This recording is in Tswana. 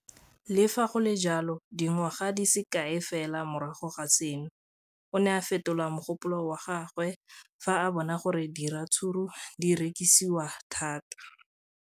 Le fa go le jalo, dingwaga di se kae fela morago ga seno, o ne a fetola mogopolo wa gagwe fa a bona gore diratsuru di rekisiwa thata.